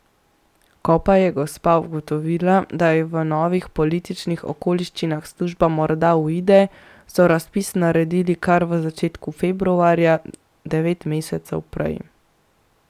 Ko pa je gospa ugotovila, da ji v novih političnih okoliščinah služba morda uide, so razpis naredili kar v začetku februarja, devet mesecev prej.